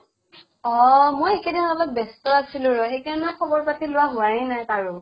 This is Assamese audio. অʼ মই এইকেইদিন অলপ ব্য়স্ত আছিলো ৰʼ । সেইকাৰণে খবৰ পাতি লোৱা হোৱায়ে নাই কাৰো ।